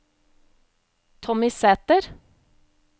Tommy Sæter